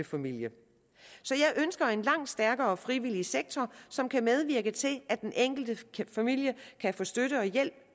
familie så jeg ønsker en langt stærkere frivillig sektor som kan medvirke til at den enkelte familie kan få støtte og hjælp